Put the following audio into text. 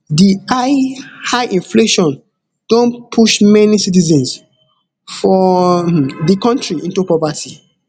di high high inflation don push many citizens of um di kontri into poverty